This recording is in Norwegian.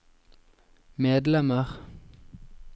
medlemmer